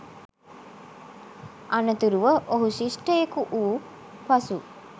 අනතුරුව ඔහු ශිෂ්ටයෙකු වූ පසු